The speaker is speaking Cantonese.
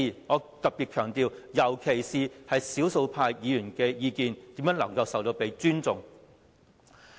我特別強調尤其是少數派議員的意見如何被尊重呢？